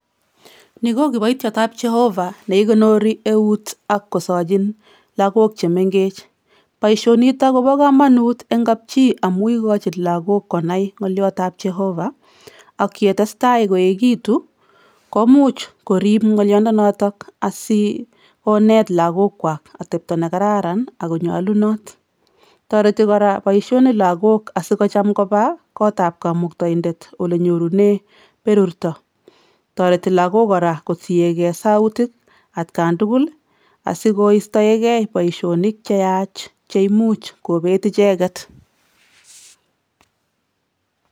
Ni ko kiboitiotap Jehova ne ikonori eut ak kosochin lagook che mengech. Boisionitok kobo komonut eng kapchii amu ikochin lagook konai ng'oliotap Jehova, ak ye testai koeegitu komuch korib ng'olyondonotok asikoneet lagookwa atepto ne kararan ak konyolunot. Toreti kora boisioni lagok asikocham kopa kotap kamuktaindet ole nyorune berurto. Toreti lagok kora kotiegei sautik atkan tugul asikoistoegei boisionik che yaach che imuch kobeet icheget.